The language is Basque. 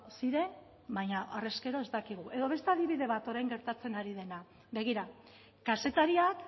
ziren baina harrezkero ez dakigu edo beste adibide bat orain gertatzen ari dena begira kazetariak